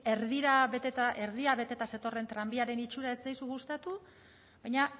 erdia beteta zetorren tranbiaren itxura ez zaizu gustatu baina